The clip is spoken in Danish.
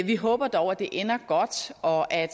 vi håber dog at det ender godt og at